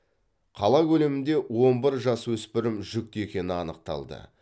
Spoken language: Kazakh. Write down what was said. қала көлемінде он бір жасөспірім жүкті екені анықталды